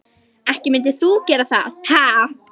Ekki mundir þú gera það, ha?